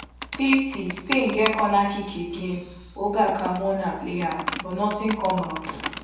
fifty spain get corner kick again olga carmona play am but notin come out